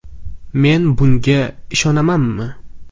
“Men bunga ishonamanmi?